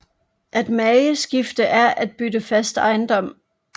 At mageskifte er at bytte fast ejendom